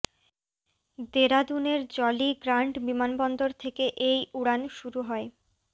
দেরাদুনের Jolly Grant বিমান বন্দর থেকে এই উড়ান শুরু হয়